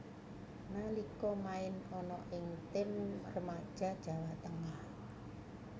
Nalika main ana ing tim remaja Jawa Tengah